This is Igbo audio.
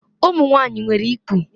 Ụmụ nwanyị nwere ikpu.